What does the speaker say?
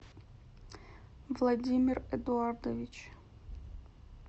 владимир эдуардович